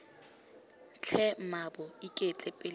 tlhe mmaabo iketle pele moeng